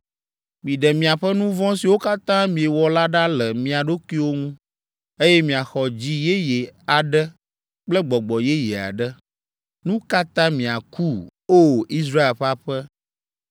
Miɖe miaƒe nu vɔ̃ siwo katã miewɔ la ɖa le mia ɖokuiwo ŋu, eye miaxɔ dzi yeye aɖe kple gbɔgbɔ yeye aɖe. Nu ka ta miaku, O! Israel ƒe aƒe?